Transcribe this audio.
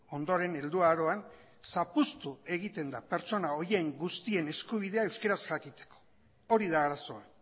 ondoren helduaroan zapuztu egiten da pertsona horien guztien eskubidea euskeraz jakiteko hori da arazoa